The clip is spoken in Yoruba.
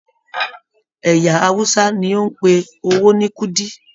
Ẹyà Hausa ní o n pé owó ní kúdí.